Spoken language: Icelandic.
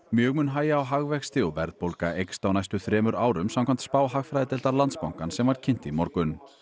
mjög mun hægja á hagvexti og verðbólga eykst á næstu þremur árum samkvæmt spá hagfræðideildar Landsbankans sem var kynnt í morgun